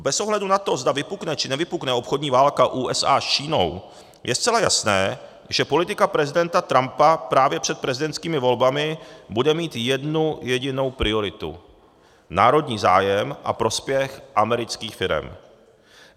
Bez ohledu na to, zda vypukne, či nevypukne obchodní válka USA s Čínou, je zcela jasné, že politika prezidenta Trumpa právě před prezidentskými volbami bude mít jednu jedinou prioritu - národní zájem a prospěch amerických firem.